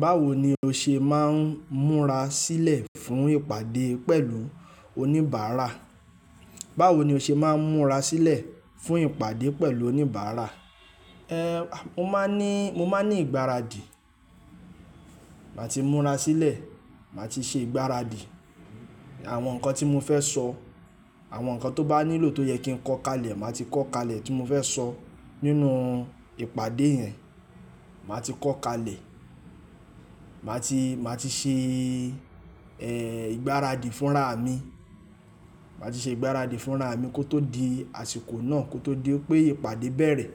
Báwo ni o ṣe máa ń múra sílẹ̀ fún ìpàdé pẹ̀lú oníbàárà? Báwo ni o ṣe máa ń múra sílẹ̀ fún ìpàdé pẹ̀lú oníbàra? Mo máa ń ní, mo máa ń ní ìgbáradì. Màá ti múra sílẹ̀, màá ti ṣe ìgbáradì. Àwọn nǹkan tí mo fẹ́ sọ, àwọn nǹkan tó bá nílò tó yẹ kí ń kọ kalẹ̀, màá ti kọ kalẹ̀, tí mo fẹ́ sọ nínú ìpàdé yẹn. Màá ti kọ kalẹ̀, màá ti, màá ti ṣe, ìgbáradì fúnraà mi. Màá ti ṣe ìgbáradì fún raà mi kó tó di àsìkò náà, kó tó di npé ìpàdé bẹ̀rẹ̀.